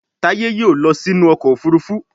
Taye yóò ló sí inú ọkọ̀ òfurufú